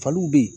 Faliw bɛ yen